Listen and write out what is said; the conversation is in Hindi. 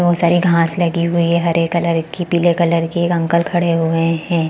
बहोत सारी घाँस लगी हुई है हरे कलर की पीले कलर की एक अंकल खड़े हुए है।